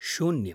शून्यम्